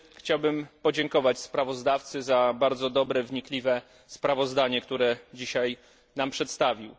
Chciałbym podziękować sprawozdawcy za bardzo dobre, wnikliwe sprawozdanie, które dzisiaj nam przedstawił.